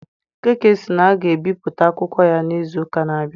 Okeke sị na aga ebipụta akwụkwọ ya n'izu ụka na-abịa.